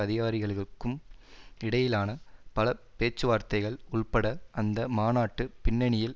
அதிகாரிகளுக்கும் இடையிலான பல பேச்சுவார்த்தைகள் உள்பட அந்த மாநாட்டு பின்னணியில்